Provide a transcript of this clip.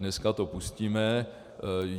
Dneska to pustíme.